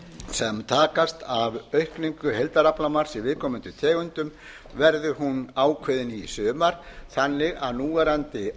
sem takast af aukningu heildaraflamarks í viðkomandi tegundum verði hún ákveðin í sumar þannig að núverandi